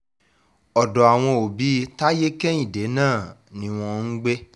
ọ̀dọ̀ àwọn òbí táyé-kẹ́hìndé náà ni wọ́n ń gbé